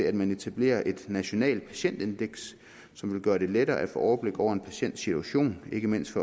at man etablerer et nationalt patientindeks som vil gøre det lettere at få overblik over en patients situation ikke mindst